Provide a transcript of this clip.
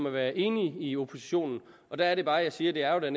at være enige i oppositionen der er det bare at jeg siger at det